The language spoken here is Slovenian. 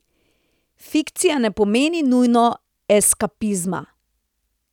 Fikcija ne pomeni nujno eskapizma.